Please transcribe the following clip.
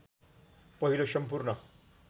पहिलो सम्पूर्ण